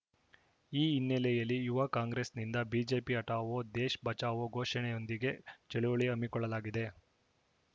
ಈ ಹಿನ್ನೆಲೆಯಲ್ಲಿ ಯುವ ಕಾಂಗ್ರೆಸ್‌ನಿಂದ ಬಿಜೆಪಿ ಹಠವೋ ದೇಶ್‌ ಬಜಾವೋ ಘೋಷಣೆಯೊಂದಿಗೆ ಚಳುವಳಿ ಹಮ್ಮಿಕೊಳ್ಳಲಾಗಿದೆ